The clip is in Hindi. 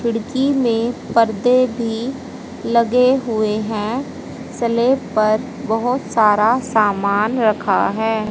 खिड़की में पर्दे भी लगे हुए हैं स्लेफ पर बहुत सारा सामान रखा है।